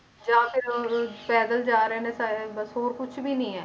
ਜਾਂ ਫਿਰ ਪੈਦਲ ਜਾ ਰਹੇ ਨੇ ਸਾਰੇ ਬਸ ਹੋਰ ਕੁਛ ਵੀ ਨੀ ਹੈ,